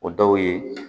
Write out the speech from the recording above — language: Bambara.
O dɔw ye